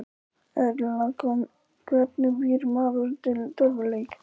Erla: Hvernig býr maður til tölvuleik?